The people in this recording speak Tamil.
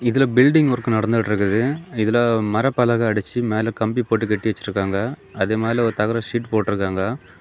இதுல பில்டிங் ஒர்க் நடந்திட்டு இருக்குது இதுல மரப்பலகை அடிச்சி மேல கம்பி போட்டு கட்டி வச்சிருக்காங்க அது மேல ஒரு தகர சீட் போட்டு இருக்காங்க.